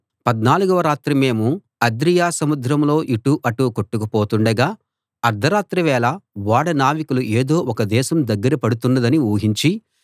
పద్నాలుగవ రాత్రి మేము అద్రియ సముద్రంలో ఇటు అటు కొట్టుకు పోతుండగా అర్థరాత్రి వేళ ఓడ నావికులు ఏదో ఒక దేశం దగ్గర పడుతున్నదని ఊహించి